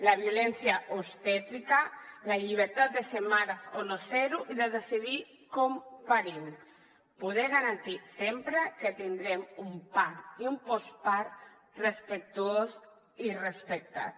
la violència obstètrica la llibertat de ser mares o no ser ho i de decidir com parim poder garantir sempre que tindrem un part i un postpart respectuós i respectat